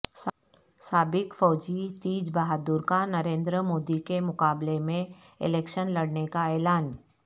سابق فوجی تیج بہادر کا نریندر مودی کے مقابلے میں الیکشن لڑنے کا اعلان